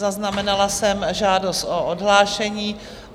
Zaznamenala jsem žádost o odhlášení.